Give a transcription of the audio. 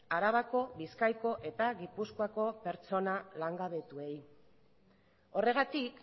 arabako bizkaiko eta gipuzkoako pertsona langabetuei horregatik